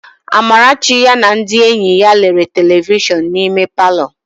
Amarachi ya na ndị enyi ya lere telivishọn n'ime palọ.